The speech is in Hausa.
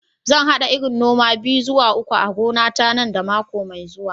Zan hada irin noma biyu zuwa uku a gonata nan da mako mai zuwa.